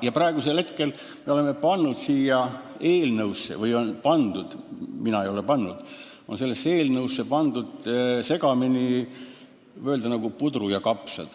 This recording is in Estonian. Lisaks oleme pannud – või on pandud, mina ei ole pannud – sellesse eelnõusse segamini, võib öelda, nagu pudru ja kapsad,